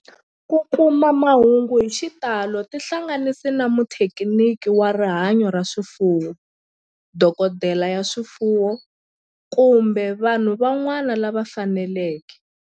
Ku kuma mahungu hi xitalo tihlanganisi na muthekiniki wa rihanyo ra swifuwo, dokodela ya swifuwo, kumbe vanhu van'wana lava fanelekeke